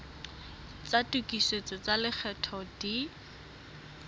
tsa tokisetso tsa lekgetho di